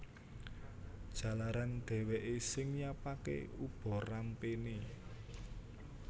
Jalaran dhèwèké sing nyiapaké ubarampéné